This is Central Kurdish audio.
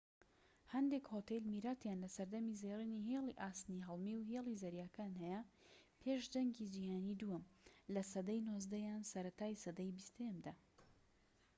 هەندێک هۆتێل میراتیان لە سەردەمی زێڕینی هێڵی ئاسنی هەڵمی و هێڵی زەریاکان هەیە پێش جەنگی جیهانی دووەم لە سەدەی 19 یان سەرەتای سەدەی 20یەمدا